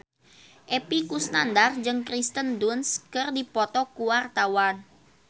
Epy Kusnandar jeung Kirsten Dunst keur dipoto ku wartawan